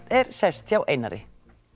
er sest hjá Einari